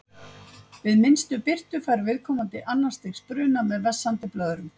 Við minnstu birtu fær viðkomandi annars stigs bruna með vessandi blöðrum.